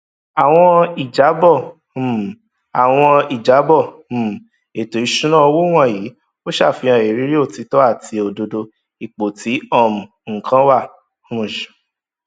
àwọn ìjábọ um àwọn ìjábọ um ètò ìṣúná owó wọnyí ò ṣàfihàn ìrírí òtítọ àti òdodo ipò tí um nǹkan wà um